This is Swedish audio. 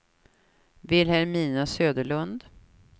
Vilhelmina Söderlund